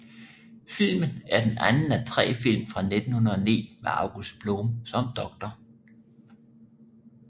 Filmen er den anden af tre film fra 1909 med August Blom som Dr